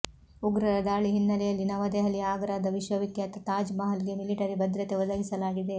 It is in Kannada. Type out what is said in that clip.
ಉಗ್ರರ ದಾಳಿ ಹಿನ್ನೆಲೆಯಲ್ಲಿ ನವದೆಹಲಿಯ ಆಗ್ರಾದ ವಿಶ್ವ ವಿಖ್ಯಾತ ತಾಜ್ ಮಹಲ್ ಗೆ ಮಿಲಿಟರಿ ಭದ್ರತೆ ಒದಗಿಸಲಾಗಿದೆ